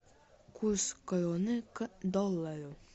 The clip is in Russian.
курс кроны к доллару